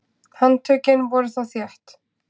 Handtökin voru þá þétt.